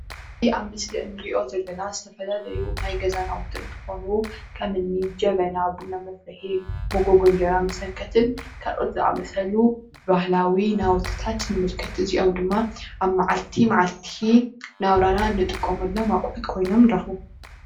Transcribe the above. እዚ ኣብ ምስሊ እንሪኦ ዘለና ዝተፈላለዩ ናይ ገዛ ናዉቲ እንትኾኑ ከምኒ ጀበና ቡና መፍልሒ ፣መጎጎ እንጀራ መሰንከትን ካልኦት ዝኣመሰሉን ባህላዊ ናዉትታት ንምልከት፡፡ እዚኦም ድማ ኣብ ማዓልቲ ማዓልቲ እናብረና እንጥቀመሎም ኣቑሑት ኮይኖም ንረኽቦም፡፡